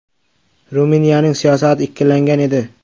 Ruminiyaning siyosati ikkilangan edi.